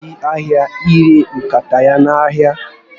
O ga eje ahịa ire nkata ya n'ahịa